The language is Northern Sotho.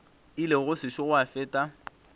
ile go sešo gwa feta